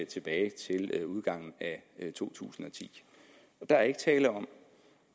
tilbage til udgangen af to tusind og ti der er ikke tale om